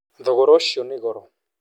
Thogora ucio ni goro